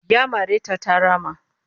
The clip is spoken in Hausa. Ya mare ta ta rama